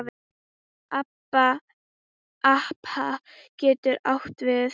APA getur átt við